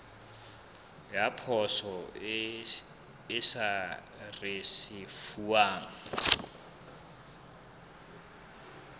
ya poso e sa risefuwang